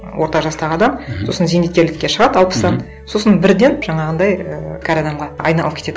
орта жастағы адам мхм сосын зейнеткерлікке шығады алпыста сосын бірден жаңағындай ііі кәрі адамға айналып кетеді